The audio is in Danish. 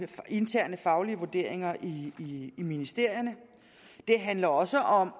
interne faglige vurderinger i ministerierne det handler også om